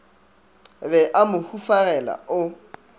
be a mo hufagela o